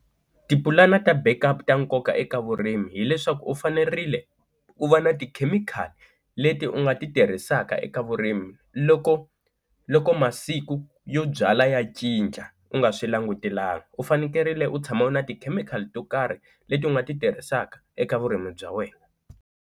Tipulani ta backup ta nkoka eka vurimi hileswaku u fanerile u va na tikhemikhali leti u nga ti tirhisaka eka vurimi loko loko masiku yo byala ya cinca u nga swi langutelanga, u fanekerile u tshama u ri na ti chemical to karhi leti u nga ti tirhisaka eka vurimi bya wena.